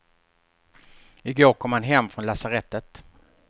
I går kom han hem från lasarettet.